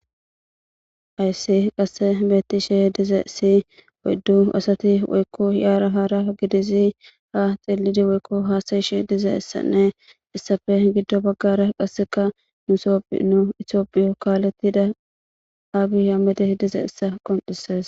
ayssi qasse beetti she dize si oyddu asati woykko hiaara haara gidizi ha xillidi woykko haasayish dize issanne issafe giddo baggara qasseka nusoph no itiophiyo kaaletida aabiya mede dize issa qonises